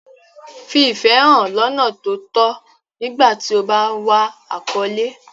Fi ìfẹ́ hàn lọ́nà tó tọ́ nígbà tí o bá ń wá àkọ́lé.